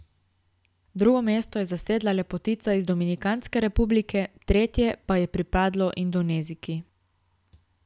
Drugo mesto je zasedla lepotica iz Dominikanske republike, tretje pa je pripadlo Indonezijki.